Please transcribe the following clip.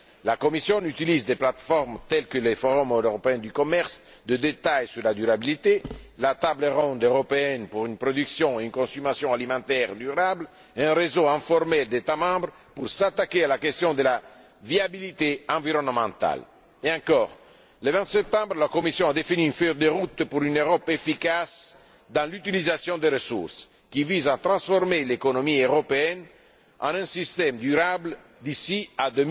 La Commission utilise des plates formes telles que le forum européen du commerce de détail sur la durabilité, la table ronde européenne pour une production et une consommation alimentaires durables et un réseau informel d'États membres pour s'attaquer à la question de la viabilité environnementale. En outre, le 20 septembre, la Commission a défini une feuille de route pour une Europe efficace dans l'utilisation des ressources, qui vise à transformer l'économie européenne en un système durable d'ici